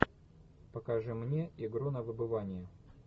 покажи мне игру на выбывание